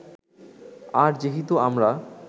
আর যেহেতু আমরা